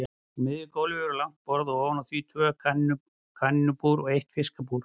Á miðju gólfi var langt borð og ofan á því tvö kanínubúr og eitt fiskabúr.